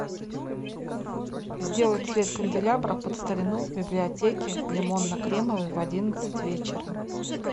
сделать цвет канделябра под старину в библиотеке лимонно кремовый в одиннадцать вечера